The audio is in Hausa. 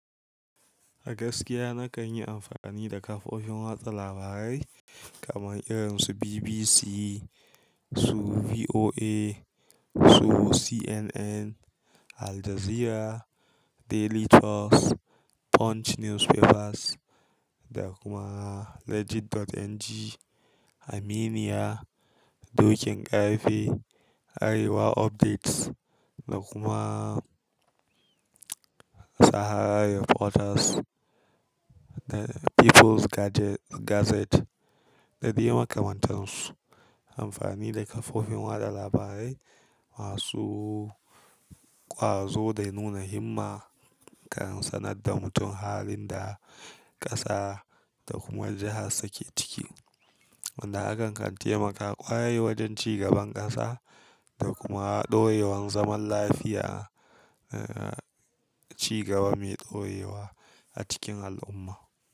A agaskiya na kan yi amfani da kafofin watsa labarai kamar irin su BBC, su VOA, su CNN, Aljazeera, Daily Trust, Punch Newspapers, da kuma Legit.ng, Aminiya, Dokin ƙarfe, Arewa Updates, da kuma Sahara Reporters, da Peoples Gazette da dai makamantansu. Amfani da kafofin watsa labarai masu ƙwazo dai nuna himma kan sanar da mutum halin da ƙasa da kuma jihar su ke ciki, wanda hakan kan taimaka ƙwarai wajen ci gaban ƙasa. Da kuma ɗorewan zaman lafiya, a ci gaba mai tsayewa a cikin al'umma.